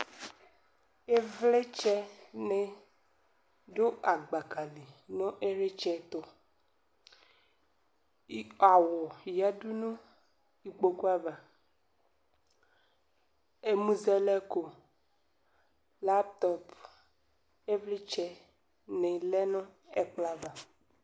Ivlitsɛ ni dʋ agbaka li nʋ ilitsɛ tʋ Awʋ yadu nʋ ikpoku ava Ɛmʋzɛlɛko, lapʋtɔpʋ, ivlitsɛ ni lɛ nʋ ɛkplɔ ava